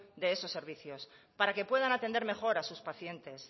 de esos servicios para que puedan atender mejor a sus pacientes